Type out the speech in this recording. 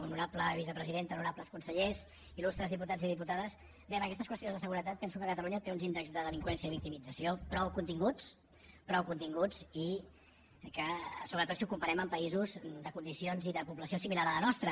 honorable vicepresidenta honorables consellers il·lustres diputats i diputades en aquestes qüestions de seguretat penso que catalunya té uns índexs de delinqüència i victimització prou continguts prou continguts sobretot si ho comparem amb països de condicions i de població similar a la nostra